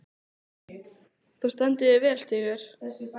Þú stendur þig vel, Stígur!